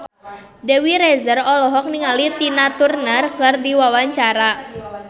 Dewi Rezer olohok ningali Tina Turner keur diwawancara